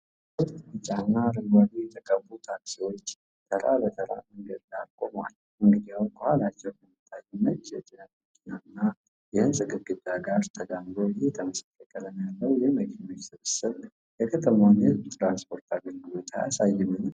ሦስት ቢጫና አረንጓዴ የተቀቡ ታክሲዎች ተራ በተራ መንገድ ዳር ቆመዋል፤ እንግዲያው፣ ከኋላቸው ከሚታየው ነጭ የጭነት መኪና እና የሕንፃ ግድግዳ ጋር ተዳምሮ፣ ይህ ተመሳሳይ ቀለም ያለው የመኪናዎች ስብስብ የከተማውን የሕዝብ ትራንስፖርት አገልግሎት አያሳይምን?